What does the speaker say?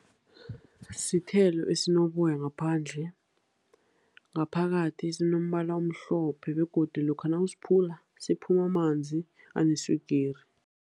Sithelo esinoboya ngaphandle, ngaphakathi sinombala omhlophe, begodu lokha nawusiphula siphuma amanzi aneswigiri.